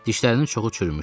Dişlərinin çoxu çürümüşdü.